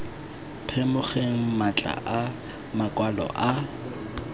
phimogeng matlha a makwalo a